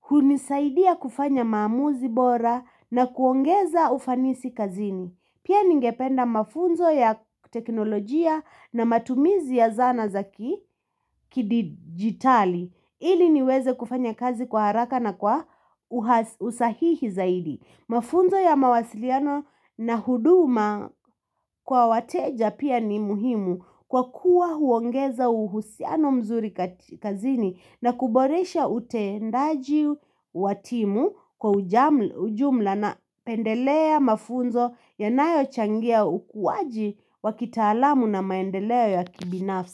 hunisaidia kufanya maamuzi bora na kuongeza ufanisi kazini. Pia ningependa mafunzo ya teknolojia na matumizi ya zana zaki kidigitali ili niweze kufanya kazi kwa haraka na kwa usahihi zaidi. Mafunzo ya mawasiliano na huduma kwa wateja pia ni muhimu kwa kuwa huongeza uhusiano mzuri kazini na kuboresha utendaji watimu kwa ujumla na pendelea mafunzo ya nayo changia ukuwaji wa kitaalamu na maendeleo ya kibinafsi.